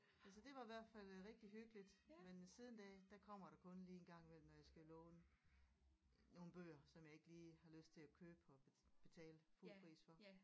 Ja så det var i hvert fald øh rigtig hyggeligt men siden da der kommer der kun lige en gang imellem når jeg skal låne nogle bøger som jeg ikke lige har lyst til at købe og betale fuld pris for